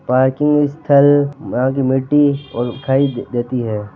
पार्किंग स्थल आगे मिटटी और दिखायी देती है।